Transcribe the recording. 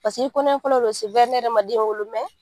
Pasik'i kɔnɔɲɛ fɔlɔ do ne yɛrɛ man den wolo